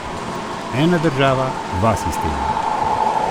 Ena država, dva sistema.